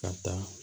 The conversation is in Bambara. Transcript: Ka taa